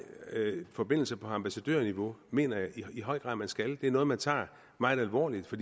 forbindelser på ambassadørniveau mener jeg i høj grad man skal det er noget man tager meget alvorligt for